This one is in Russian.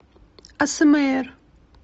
асмр